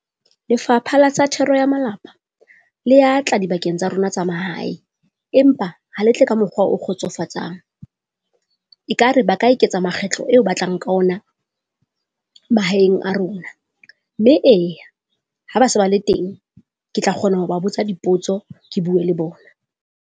Lefapha la sa Thero ya Malapa le ya tla dibakeng tsa rona tsa mahae, empa ha le tle ka mokgwa o kgotsofatsang. Ekare ba ka eketsa makgetlo eo ba tlang ka ona mahaeng a rona, mme eya ha ba se ba le teng, ke tla kgona ho ba botsa dipotso ke bue le bona.